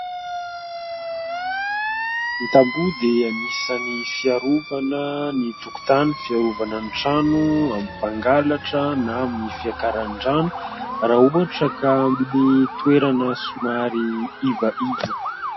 Ny tamboho dia anisany fiarovana ny tokotany, fiarovana ny trano amin'ny mpangalatra na amin'ny fiakaran'ny rano, raha ohatra ka amin'ny toerana somary iva iva.